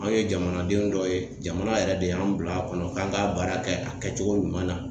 An ye jamanadenw dɔ ye jamana yɛrɛ de y'an bila a kɔnɔ k'an ka baara kɛ a kɛcogo ɲuman na.